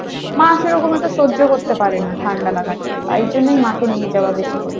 মা সেরকম অত সহ্য করতে পারে না ঠান্ডা লাগাটা তাই জন্যই মাকে নিয়ে যাওয়া বেশি করে।